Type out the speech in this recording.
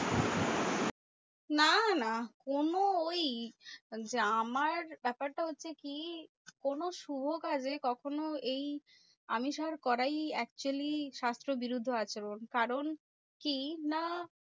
না না কোনো ওই আমার ব্যাপারটা হচ্ছে কি? কোনো শুভ কাজে কখনো এই আমিষ আর করাই actually শাস্ত্র বিরুদ্ধ আচরণ। কারণ কি না